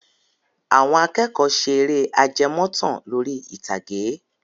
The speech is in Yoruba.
Àwọn akẹ́kọ̀ọ́ ṣe eré ajẹmọ́tàn lórí ìtàgé.